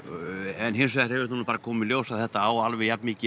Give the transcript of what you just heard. en hins vegar hefur það bara komið í ljós að þetta á alveg jafn mikið